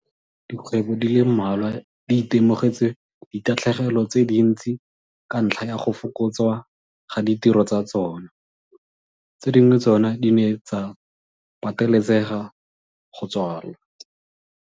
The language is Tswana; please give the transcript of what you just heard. Dikgwebo di le mmalwa di itemogetse ditatlhegelo tse dintsi ka ntlha ya go fokotswa ga ditiro tsa tsona. Tse dingwe tsona di ne tsa patelesega go tswalwa.